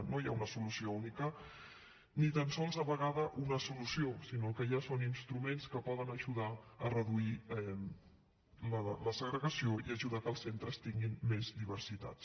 no hi ha una solució única ni tan sols a vegades una solució sinó que el que hi ha són instruments que poden ajudar a reduir la segregació i ajudar a fer que els centres tinguin més diversitats